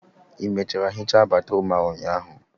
ị mechara hichaa batrum a ụnyaahụ?